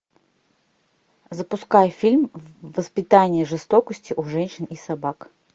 запускай фильм воспитание жестокости у женщин и собак